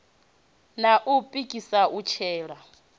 na u pikisa u tsela